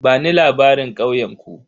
Bani labarin ƙauyen ku?